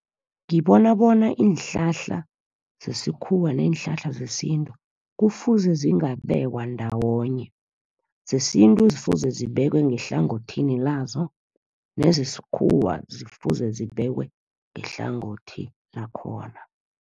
Ngibona bona iinhlahla zesikhuwa neenhlahla zesintu kufuze zingabekwa ndawonye. Zesintu kufuze zibekwe ngehlangothini lazo, nezesikhuwa zifuze zibekwe ngehlangothi lakhona.